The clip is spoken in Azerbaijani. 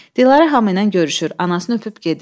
Dilarə Həmidə ilə görüşür, anasını öpüb gedir.